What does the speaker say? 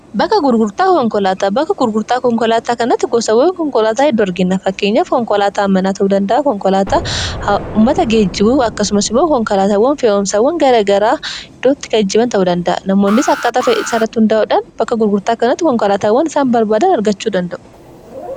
Bakka gurgurtaa konkolaataa kanatti gosoota konkolaataa hedduu argina. Fakkeenyaaf: konkolaataa dhuunfaa amanamoo ta'an, konkolaataa uummataa (baasii), akkasumas konkolaataawwan fe'umsaa garaa garaa ta'uu danda'u. Namoonnis akkaataa fedhii isaanii irratti hundaa'uudhaan, bakka gurgurtaa kanatti konkolaataawwan barbaadan argachuu danda'u.